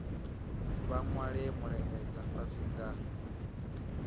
vha nwale mulaedza fhasi nga